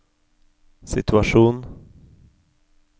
situasjon